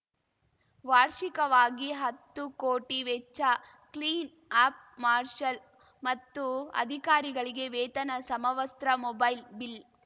ವಾರ್ಷಿಕವಾಗಿ ಹತ್ತು ಕೋಟಿ ವೆಚ್ಚ ಕ್ಲೀನ್‌ ಅಪ್‌ ಮಾರ್ಷಲ್‌ ಮತ್ತು ಅಧಿಕಾರಿಗಳಿಗೆ ವೇತನ ಸಮವಸ್ತ್ರ ಮೊಬೈಲ್‌ ಬಿಲ್‌